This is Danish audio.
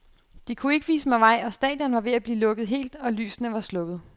De kunne ikke vise mig vej, og stadion var ved at blive lukket helt, og lysene var slukket.